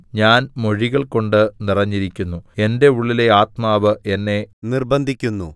ഞാൻ മൊഴികൾകൊണ്ട് നിറഞ്ഞിരിക്കുന്നു എന്റെ ഉള്ളിലെ ആത്മാവ് എന്നെ നിർബ്ബന്ധിക്കുന്നു